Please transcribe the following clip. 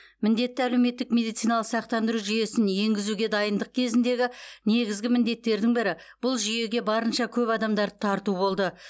міндетті әлеуметтік медициналық сақтандыру жүйесін енгізуге дайындық кезіндегі негізгі міндеттердің бірі бұл жүйеге барынша көп адамдарды тарту болды